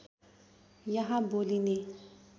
यहाँ बोलीने